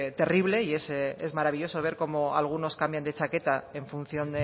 terrible y es maravilloso ver cómo algunos cambian de chaqueta en función